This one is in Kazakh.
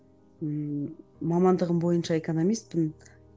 ммм мамандығым бойынша экономиспін